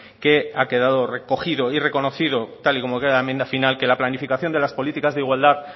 que ha quedado recogido y reconocido tal y como queda la enmienda final que la planificación de las políticas de igualdad